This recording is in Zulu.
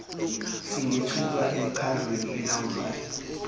singethulwa emikhandlwini elawulayo